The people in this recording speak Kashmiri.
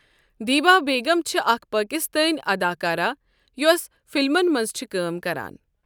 دیبا بیغم چھِ اَکھ پاکِستٲنؠ اَداکارہ یۄس فِلمَن مَنٛز چھِ کٲم کَران۔